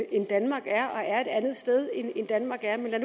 end danmark er og er et andet sted end danmark er men lad